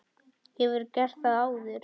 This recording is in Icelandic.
Hefurðu gert það áður?